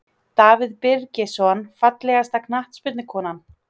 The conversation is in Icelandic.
Davíð Birgisson Fallegasta knattspyrnukonan?